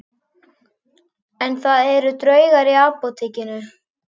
En það eru draugar í Apótekinu